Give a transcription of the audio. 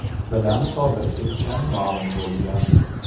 bilan sodir etgani ma’lum bo‘lgan.